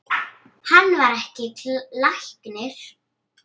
Hann var ekki læknir.